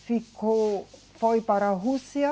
Ficou, foi para a Rússia.